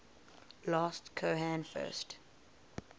last cohen first